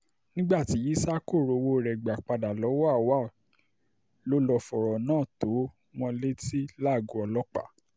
nígbà tí ísà kò rí owó rẹ̀ gbà padà lọ́wọ́ auwal ló lọ́ọ́ fọ̀rọ̀ náà tó wọn létí lágọ̀ọ́ ọlọ́pàá